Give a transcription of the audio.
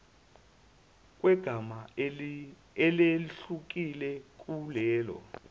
kwegama elehlukile kulelo